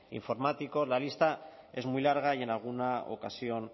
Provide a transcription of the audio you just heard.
informáticos la lista es muy larga y en alguna ocasión